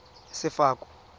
sefako